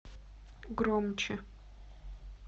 громче